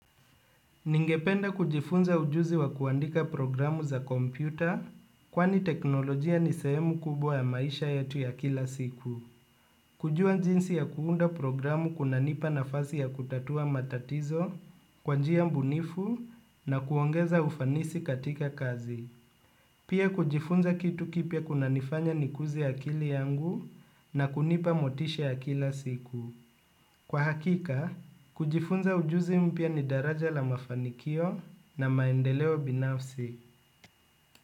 Ningependa kujifunza ujuzi wa kuandika programu za kompyuta kwani teknolojia ni sehemu kubwa ya maisha yetu ya kila siku. Kujua jinsi ya kuunda programu kunanipa nafasi ya kutatua matatizo, kwa njia bunifu na kuongeza ufanisi katika kazi. Pia kujifunza kitu kipya kunanifanya nikuze akili yangu na kunipa motisha ya kila siku. Kwa hakika, kujifunza ujuzi mpya ni daraja la mafanikio na maendeleo binafsi.